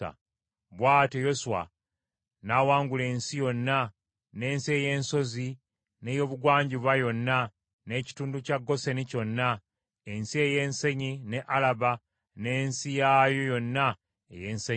Bw’atyo Yoswa n’awangula ensi yonna, n’ensi ey’ensozi n’ey’obugwanjuba yonna, n’ekitundu kya Goseni kyonna, ensi ey’ensenyi ne Alaba, n’ensi yaayo yonna ey’ensenyi.